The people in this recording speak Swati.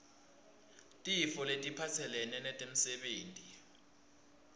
tifo letiphatselene nemsebenti